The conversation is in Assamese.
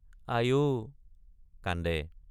আই—অ কান্দে।